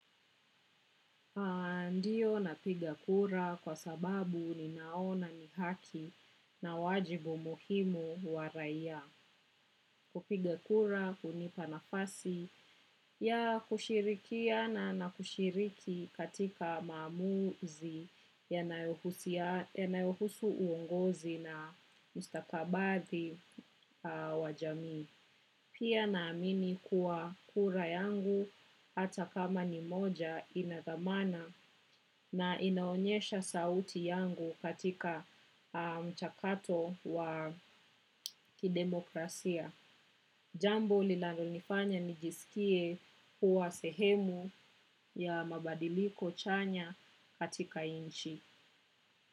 Ndiyo napiga kura kwa sababu ninaona ni haki na wajibu muhimu wa raia kupiga kura hunipa nafasi ya kushirikiana na kushiriki katika maamuzi yanayohusu uongozi na mustakabali wa jamii. Pia naamini kuwa kura yangu hata kama ni moja ina thamana na inaonyesha sauti yangu katika mchakato wa kidemokrasia. Jambo linalonifanya nijisikie kuwa sehemu ya mabadiliko chanya katika nchi.